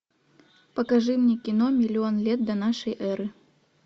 покажи мне кино миллион лет до нашей эры